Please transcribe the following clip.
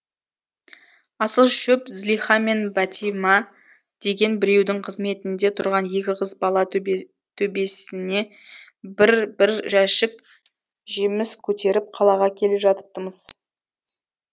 асыл шөп злиха мен бәтима деген біреудің қызметінде тұрған екі қыз бала төбесине бір бір жәшік жеміс көтеріп қалаға келе жатыпты мыс